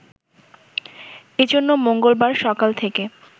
এ জন্য মঙ্গলবার সকাল থেকে